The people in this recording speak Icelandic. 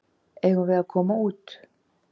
Eigum við að koma út?